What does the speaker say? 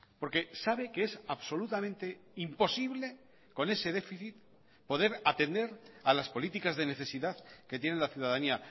porque sabe que es absolutamente imposible con ese déficit poder atender a las políticas de necesidad que tiene la ciudadanía